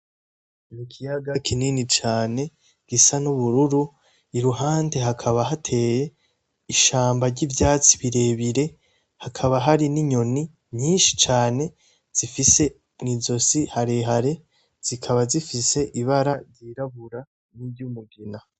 Mukiyaga kinini cane gisa n'ubururu, i ruhande hakaba hateye ishamba ry'ivyatsi birebire hakaba hari n'inyoni nyinshi cane zifise mw'izosi harehare zikaba zifise ibara ryirabura niry'umugina.